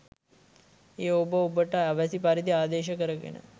එය ඔබ ඔබට අවැසි පරිදි ආදේශ කරගෙන